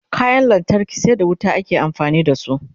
kayan lantarki sai da wuta ake amfani da su